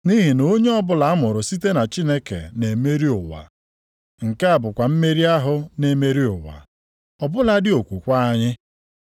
Nʼihi na onye ọbụla amụrụ site na Chineke na-emeri ụwa. Nke a bụkwa mmeri ahụ na-emeri ụwa, ọ bụladị okwukwe anyị.